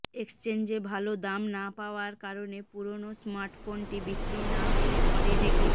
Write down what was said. এক্সচেঞ্জে ভালো দাম না পাওয়ার কারনে পুরনো স্মার্টফোনটি বিক্রি না করে ঘরে রেখে